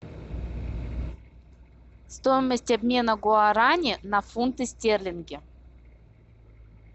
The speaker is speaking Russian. стоимость обмена гуарани на фунты стерлинги